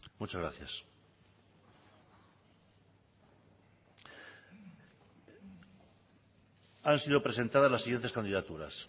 muchas gracias han sido presentadas las siguientes candidaturas